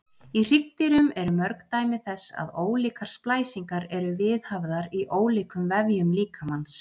Í hryggdýrum eru mörg dæmi þess að ólíkar splæsingar eru viðhafðar í ólíkum vefjum líkamans.